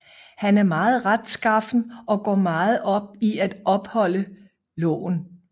Han er meget retskaffen og går meget op i at opholde loven